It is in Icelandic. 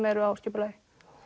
eru á skipulagi